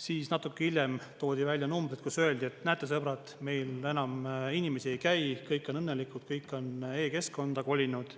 Siis natuke hiljem toodi välja numbrid, kus öeldi, et näete, sõbrad, meil enam inimesi ei käi, kõik on õnnelikud, kõik on e-keskkonda kolinud,